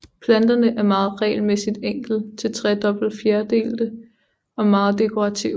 Planterne er meget regelmæssigt enkelt til tredobbet fjerdelte og meget dekorative